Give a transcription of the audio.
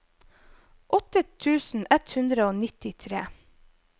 åtte tusen ett hundre og nittitre